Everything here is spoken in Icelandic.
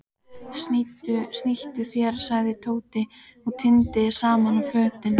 Snýttu þér sagði Tóti og tíndi saman fötin.